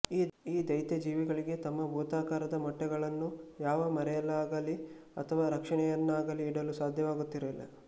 ಈ ದೈತ್ಯಜೀವಿಗಳಿಗೆ ತಮ್ಮ ಭೂತಾಕಾರದ ಮೊಟ್ಟೆಗಳನ್ನು ಯಾವ ಮರೆಯಲ್ಲಾಗಲೀ ಅಥವಾ ರಕ್ಷಣೆಯಲ್ಲಾಗಲೀ ಇಡಲು ಸಾಧ್ಯವಾಗುತ್ತಿರಲಿಲ್ಲ